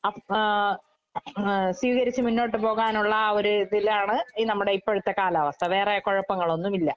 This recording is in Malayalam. അഫ് ആഹ് ഏഹ് സ്വീകരിച്ച് മുന്നോട്ട് പോകാനൊള്ള ആ ഒര് ഇതിലാണ് ഈ നമ്മടെ ഇപ്പഴത്തെ കാലാവസ്ഥ. വേറെ കൊഴപ്പങ്ങളൊന്നും ഇല്ല.